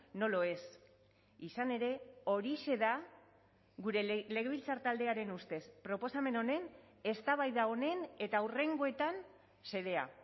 no lo es izan ere horixe da gure legebiltzar taldearen ustez proposamen honen eztabaida honen eta hurrengoetan xedea